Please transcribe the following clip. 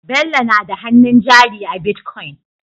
Bello nada hannun jari a bitcoin